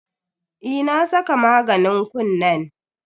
Eh na saka maganin kunnen.